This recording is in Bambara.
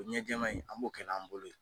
Ɲɛ jɛman in an b'o kɛ n'an bolo ye.